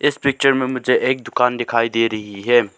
इस पिक्चर में मुझे एक दुकान दिखाई दे रही है।